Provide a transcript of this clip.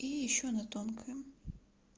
и ещё она тонкая